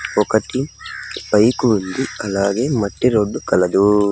ఒకటి బైకు ఉంది అలాగే మట్టి రోడ్డు కలదు.